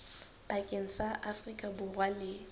pakeng tsa afrika borwa le